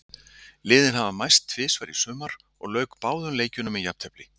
Liðin hafa mæst tvisvar í sumar og lauk báðum leikjunum með jafntefli.